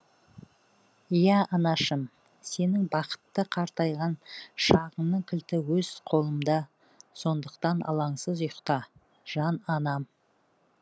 иә анашым сенің бақытты қартайған шағыңның кілті өз қолымда сондықтан алаңсыз ұйықта жан анам